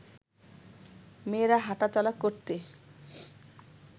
মেয়েরা হাঁটা চলা করতে